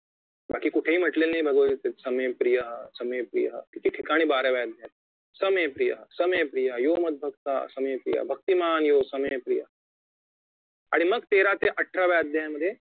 बाकी कुठेही म्हटलेले नाही भगवतगीतेमधे समेप्रिया समेप्रिया एके ठिकाणी बाराव्या अध्यायात समेप्रिया समेप्रिया योमधभक्तासमेप्रियःभक्तिमान योग समेप्रिया आणि मग तेरा ते अठराव्या अध्यायामध्ये